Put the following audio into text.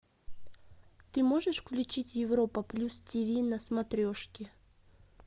ты можешь включить европа плюс ти ви на смотрешке